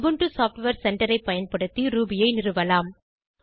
Ubuntu software centre ஐ பயன்படுத்தி Ruby ஐ நிறுவலாம்